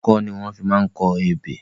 Ọkọ́ ni wọ́n fi máa ń kọ ebè.